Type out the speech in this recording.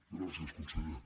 gràcies conseller